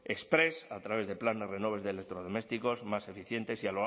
exprés a través de planes renove de electrodomésticos más eficientes